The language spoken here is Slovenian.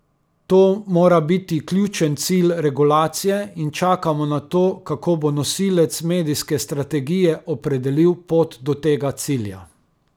To mora biti ključen cilj regulacije in čakamo na to, kako bo nosilec medijske strategije opredelil pot do tega cilja.